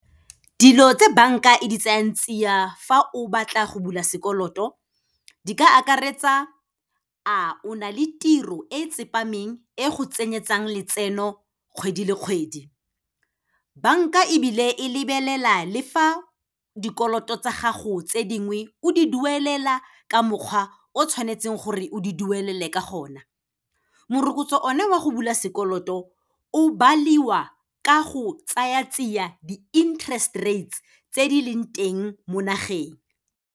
Dilo tse banka e di tseyang tsia fa o batla go bula sekoloto di ka akaretsa, a o na le tiro e tsepameng e go tsenyeletsang letseno kgwedi le kgwedi. Bank-a ebile e lebelela le fa dikoloto tsa gago tse dingwe o di duelela ka mokgwa o tshwanetseng gore o di duelele ka gona. Morokotso o ne wa go bula sekoloto, o baliwa ka go tsaya tsia di-interest rates tse di leng teng mo nageng.